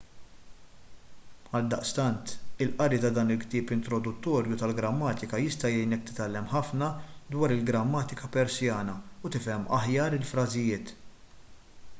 għaldaqstant il-qari ta' dan il-ktieb introduttorju tal-grammatika jista' jgħinek titgħallem ħafna dwar il-grammatika persjana u tifhem aħjar il-frażijiet